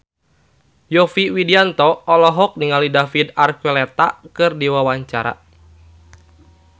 Yovie Widianto olohok ningali David Archuletta keur diwawancara